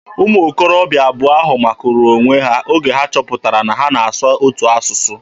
Ụmụ okorobịa abụọ ahụ makuru onwe ha oge ha chọpụtara na ha na-asụ otu asụsụ.